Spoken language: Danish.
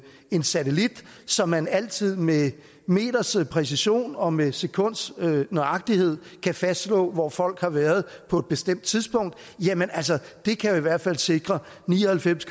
en satellit så man altid med en meters præcision og med sekunds nøjagtighed kan fastslå hvor folk har været på et bestemt tidspunkt jamen altså det kan i hvert fald sikre ni og halvfems